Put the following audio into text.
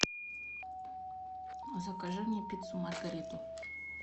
закажи мне пиццу маргариту